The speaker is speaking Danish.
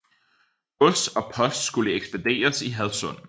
Gods og post skulle ekspederes i Hadsund